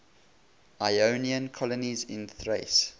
ionian colonies in thrace